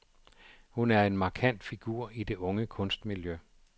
Hun er en markant figur i det unge kunstmiljø.